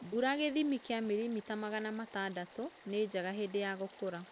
mbũra gĩthĩmĩ kĩa mĩlĩmĩta magana matandatũ nĩnjega hĩndĩ ya gũkũra